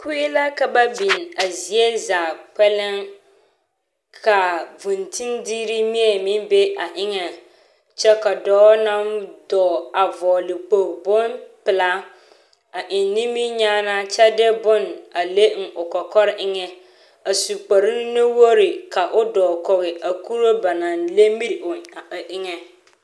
Kue la ka baiŋa zie zaa kpɛlɛŋ. Ka vũũntindigiri mie meŋ be a eŋɛŋ kyɛ ka dɔɔnaŋ dɔɔ a vɔgele kpogili bompelaa a eŋ niminyaanaa ky1 de bone a eŋ o kɔkɔre eŋɛ a su kpre nuwogiri ka o dɔɔ kɔge a kuree ba naŋ le miri o a eŋɛ.